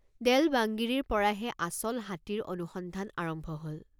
দেল্ বাংগিৰিৰপৰাহে আচল হাতীৰ অনুসন্ধান আৰম্ভ হল।